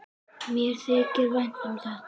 Mér þykir vænt um þetta.